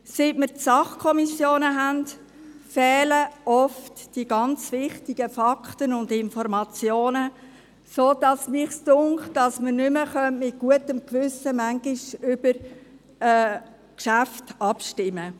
Seit wir die Sachkommissionen haben, fehlen oft die ganz wichtigen Fakten und Informationen, sodass ich den Eindruck habe, wir könnten manchmal nicht mehr guten Gewissens über Geschäfte abstimmen.